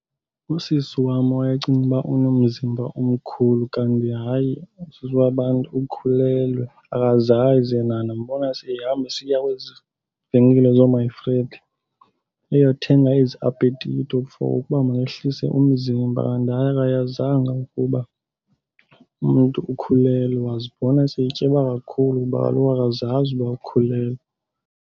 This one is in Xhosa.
Usisi wam owayecinga uba unomzimba omkhulu kanti hayi usisi wabantu ukhulelwe akazazi yena. Ndimbona sehamba esiya kwezi venkile zoo-my friend eyothenga ezi apetito for ukuba makehlise umzimba, kanti hayi akayazanga ukuba umntu ukhulelwe. Wazibona setyeba kakhulu kuba kaloku akazazi uba ukhulelwe.